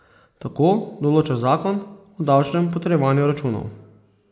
Tako določa zakon o davčnem potrjevanju računov.